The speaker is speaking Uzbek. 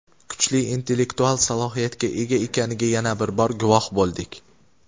kuchli intellektual salohiyatga ega ekaniga yana bir bor guvoh bo‘ldik.